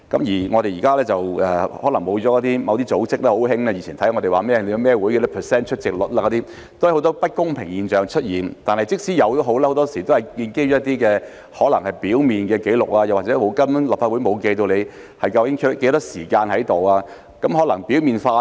現在可能沒有了某些組織，它們很喜歡監察議員參加了哪些委員會及其出席率，但這方面都出現很多不公平的現象，而且很多時候建基於可能是表面的紀錄，又或是立法會根本沒有記錄議員在席的時間，故這方面可能比較表面化。